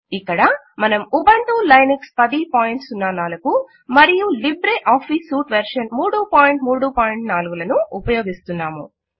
ఇక్కడ మనము Ubuntu Linux 1004 మరియు లిబ్రే ఆఫీస్ సూట్ వెర్షన్ 334 లను ఉపయోగిస్తున్నాము